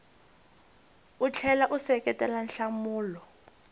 u tlhela u seketela nhlamulo